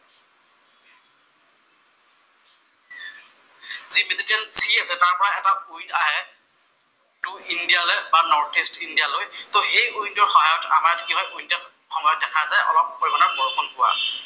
Two India লৈ বা north east India লৈ, তʼ এই উইণ্ড টোৰ সহায়ত আমাৰ কি হয় উইনন্টাৰ সময়ত দেখা যায় অলপ পৰিমাণৰ বৰষুণ হোৱা।